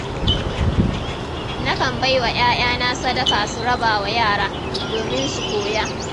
Na kan baiwa 'ya'yana sadaka su rabawa yara, domin su koya.